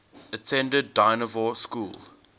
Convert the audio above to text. attended dynevor school